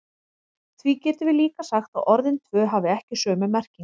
Því getum við líka sagt að orðin tvö hafi ekki sömu merkingu.